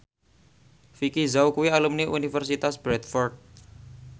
Vicki Zao kuwi alumni Universitas Bradford